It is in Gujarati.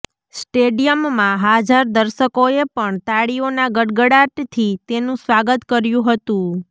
સ્ટેડિયમમાં હાજર દર્શકોએ પણ તાળીઓના ગડગડાટથી તેનું સ્વાગત કર્યું હતું